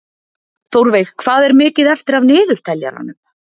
Þórveig, hvað er mikið eftir af niðurteljaranum?